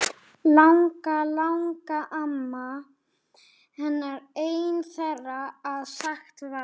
Langalangamma hennar ein þeirra að sagt var.